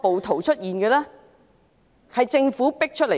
他們是政府迫出來的。